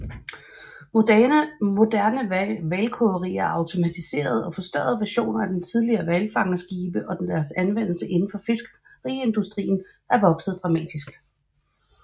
Moderne hvalkogerier er automatiserede og forstørrede versioner af de tidligere hvalfangerskibe og deres anvendelse indenfor fiskeriindustrien er vokset dramatisk